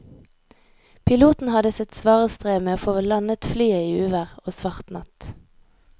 Piloten hadde sitt svare strev med å få landet flyet i uvær og svart natt.